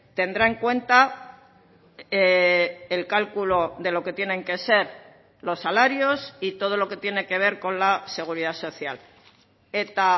tendrá en cuenta el cálculo de lo que tienen que ser los salarios y todo lo que tiene que ver con la seguridad social eta